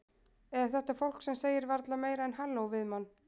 Eða þetta fólk sem segir varla meira en halló við mann.